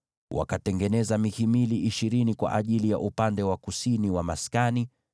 Wakatengeneza mihimili ishirini kwa ajili ya upande wa kusini wa maskani,